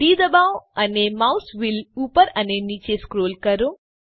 D ડબાઓ અને mouse wheel ઉપર અને નીચે સ્ક્રોલ કરો